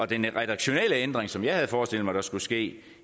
den redaktionelle ændring som jeg havde forestillet mig der skulle ske